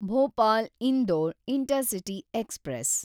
Bhopal Indore intercity express